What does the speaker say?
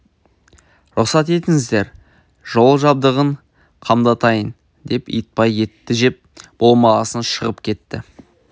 рұқсат етіңіздер жол жабдығын қамдатайын деп итбай етті жеп болғасын шығып кетті